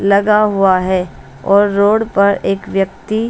लगा हुआ है और रोड पर एक व्यक्ति--